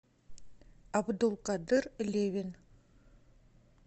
абдулкадыр левин